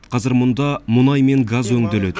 қазір мұнда мұнай мен газ өңделеді